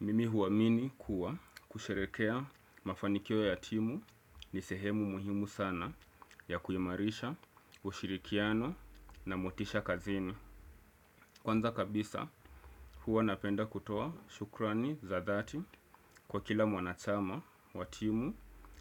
Mimi huamini kuwa kusherehekea mafanikio ya timu ni sehemu muhimu sana ya kuimarisha, ushirikiano na motisha kazini. Kwanza kabisa huwa napenda kutoa shukrani za dhati kwa kila mwanachama wa timu